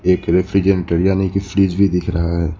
एक रेफ्रिजरेटर यानी की फ्रिज भी दिख रहा है।